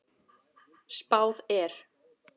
Spáð er